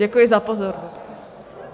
Děkuji za pozornost.